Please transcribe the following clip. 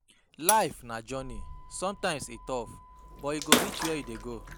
Life na journey, sometimes e rough, but you go reach where you dey go.